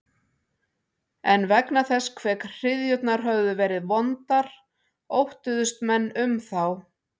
En vegna þess hve hryðjurnar höfðu verið vondar óttuðust menn um þá.